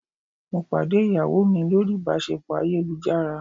Mo pàdé ìyàwó mi lórí ìbáṣepọ̀ ayélujára.